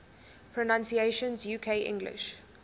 pronunciations uk english